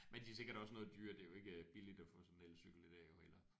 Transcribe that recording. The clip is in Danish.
Men de er sikkert også noget dyrere det er jo ikke øh billigt at få sådan en elcykel i dag jo heller